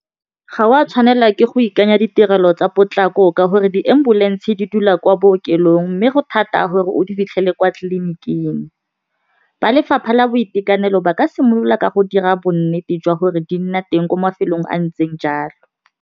Ga o a tshwanela ke go ikanya ditirelo tsa potlako ka gore di ambulance di dula kwa bookelong mme go thata gore o di fitlhele kwa tleliniking ba lefapha la boitekanelo ba ka simolola ka go dira bonnete jwa gore di nna teng ko mafelong a ntseng jalo.